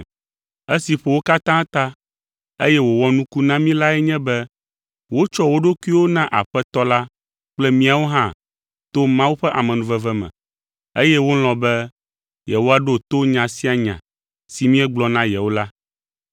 Esi ƒo wo katã ta, eye wòwɔ nuku na mí lae nye be wotsɔ wo ɖokuiwo na Aƒetɔ la kple míawo hã to Mawu ƒe amenuveve me, eye wolɔ̃ be yewoaɖo to nya sia nya si míegblɔ na yewo la.